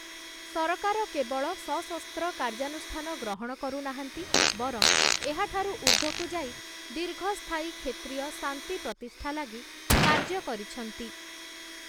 ସରକାର କେବଳ ସଶସ୍ତ୍ର କାର୍ଯ୍ୟାନୁଷ୍ଠାନ ଗ୍ରହଣ କରୁନାହାନ୍ତି, ବରଂ ଏହା ଠାରୁ ଊର୍ଦ୍ଧ୍ୱକୁ ଯାଇ ଦୀର୍ଘସ୍ଥାୟୀ କ୍ଷେତ୍ରୀୟ ଶାନ୍ତି ପ୍ରତିଷ୍ଠା ଲାଗି କାର୍ଯ୍ୟ କରିଛନ୍ତି ।